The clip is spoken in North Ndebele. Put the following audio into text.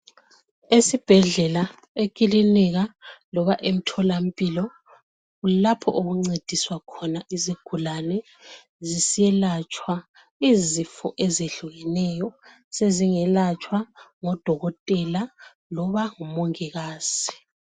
Esibhedlela, ekilinika loba emtholampilo kulapho okuncediswa khona izigulane ziselatshwa izifo ezitshiyeneyo. Sezingelatshwa ngodokotela loba ngomongikazi.